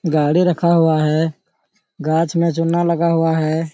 गाड़ी रखा हुआ है गाछ मे चुना लगा हुआ है।